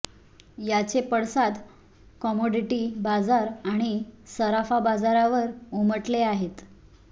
याचे पडसाद कमॉडिटी बाजार आणि सराफा बाजारावर उमटले आहेत